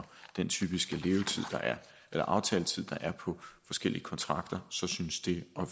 den typiske aftaletid der er på forskellige kontrakter synes det at